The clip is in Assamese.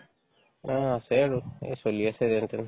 অ, আছে আৰু এই চলি আছে যেনতেন